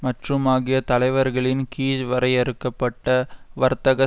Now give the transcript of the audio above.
மற்றும் ஆகிய தலைவர்களின் கீழ் வரையறுக்க பட்ட வர்த்தக